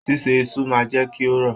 Ṣiṣe isu máa n jẹ kí o rọ̀.